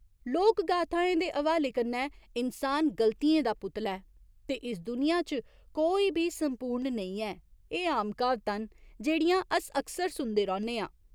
लोकगाथाएं दे हवाले कन्नै, इन्सान गल्तियें दा पुतला ऐ ते इस दुनिया च कोई बी संपूर्ण नेईं ऐ, एह् आम क्हावतां न जेह्ड़ियां अस अक्सर सुनदे रौह्‌न्ने आं।